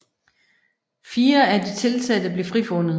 Fire af de tiltalte blev frifundet